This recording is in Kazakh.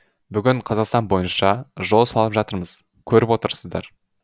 бүгін қазақстан бойынша жол салып жатырмыз көріп отырсыздар